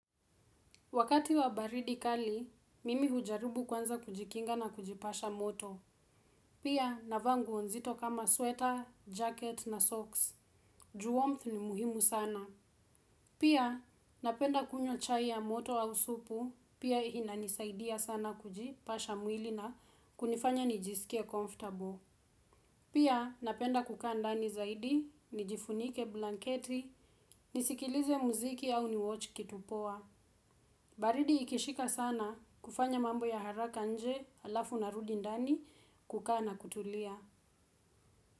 Wakati wa baridi kali, mimi hujaribu kwanza kujikinga na kujipasha moto. Pia, navaa nguo nzito kama sweater, jacket na socks. Juu warmth ni muhimu sana. Pia, napenda kunywa chai ya moto au supu. Pia, inanisaidia sana kujipasha mwili na kunifanya nijisikie comfortable. Pia, napenda kukaa ndani zaidi, nijifunike blanketi, nisikilize muziki au niwatch kitu poa. Baridi ikishika sana kufanya mambo ya haraka nje alafu narudi ndani kukaa na kutulia.